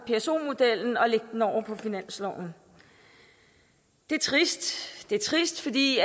pso modellen og lægge den over på finansloven det er trist det er trist fordi